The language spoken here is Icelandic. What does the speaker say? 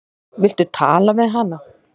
Viltu tala við hana?